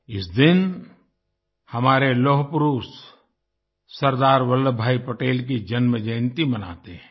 इस दिन हमारे लौह पुरुष सरदार वल्लभभाई पटेल की जन्मजयंती मनाते हैं